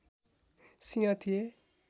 सिंह थिए